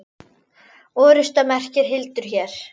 Orrusta merkir hildur hér.